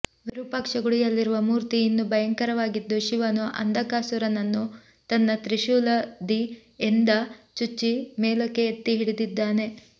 ವಿರೂಪಾಕ್ಷ ಗುಡಿಯಲ್ಲಿರುವ ಮೂರ್ತಿ ಇನ್ನೂ ಭಯಂಕರವಾಗಿದ್ದು ಶಿವನು ಅಂಧಕಾಸುರನನ್ನು ತನ್ನ ತ್ರಿಶೂಲದಿಎಂದ ಚುಚ್ಚಿ ಮೇಲಕ್ಕೆ ಎತ್ತಿ ಹಿಡಿದಿದ್ದಾನೆ